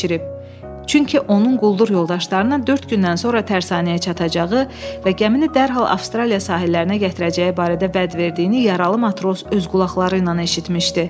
Çünki onun quldur yoldaşlarının dörd gündən sonra tərsanəyə çatacağı və gəmini dərhal Avstraliya sahillərinə gətirəcəyi barədə vəd verdiyini yaralı matros öz qulaqları ilə eşitmişdi.